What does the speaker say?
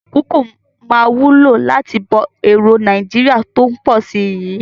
Kókò máa wúlò láti bọ́ èròo Nàìjíríà tó ń pọ̀ si yii